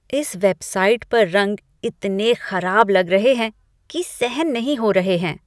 इस वेबसाइट पर रंग इतने खराब लग रहे हैं कि सहन नहीं हो रहे हैं।